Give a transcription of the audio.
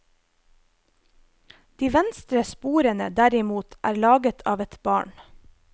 De venstre sporene derimot er laget av et barn.